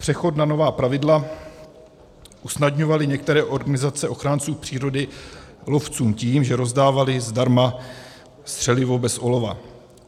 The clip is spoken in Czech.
Přechod na nová pravidla usnadňovaly některé organizace ochránců přírody lovcům tím, že rozdávaly zdarma střelivo bez olova.